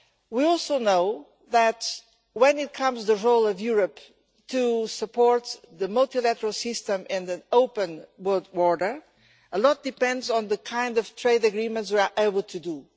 We also know that when it comes to the role of Europe in supporting the multilateral system and an open world order, a lot depends on the kind of trade agreements we are able to do.